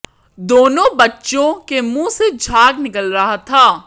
दोनों बच्चों के मुंह से झाग निकल रहा था